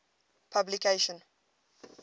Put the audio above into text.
publication